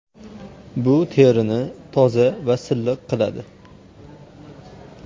Bu terini toza va silliq qiladi.